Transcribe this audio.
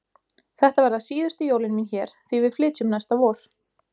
Þetta verða síðustu jólin mín hér því við flytjum næsta vor.